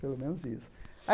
Pelo menos isso.